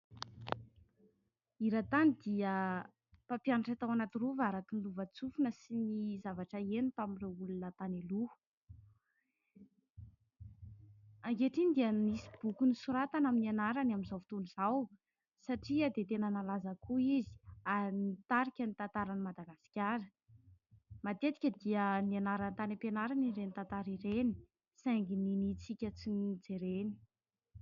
I Ratany dia mpampianatra tao anaty rova araka ny lova-tsofina sy ny zavatra heno tamin'ireo olona tany aloha. Ankehitriny dia misy boky nosoratana amin'ny anarany amin'izao fotoana izao satria dia tena nalaza koa izy ary nitarika ny tantaran'ny Madagasikara. Matetika dia nianarana tany am-pianarana ireny tantara ireny saingy ninintsika tsy nojerena.